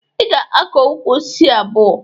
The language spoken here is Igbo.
Ị ga-akọ ukwu osisi abụọ!